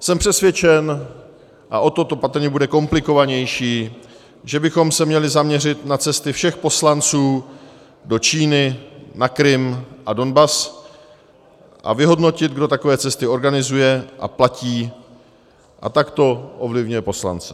Jsem přesvědčen, a o to to patrně bude komplikovanější, že bychom se měli zaměřit na cesty všech poslanců do Číny, na Krym a Donbas a vyhodnotit, kdo takové cesty organizuje a platí a takto ovlivňuje poslance.